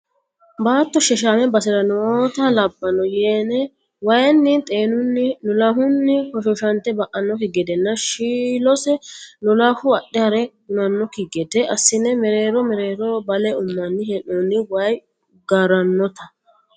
Baatto sheshame basera nootta labbano yene waayinni xeenuni lolahuni hoshoshate ba"anokki gedena shiilose lolahu adhe hare hunanokki gede assine mereero mereeroho bale umanni hee'nonni waayi garanotta.